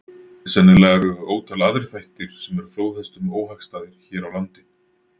Sennilega eru ótal aðrir þættir sem eru flóðhestum óhagstæðir hér á landi.